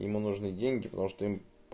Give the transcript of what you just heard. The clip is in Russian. ему нужны деньги потому что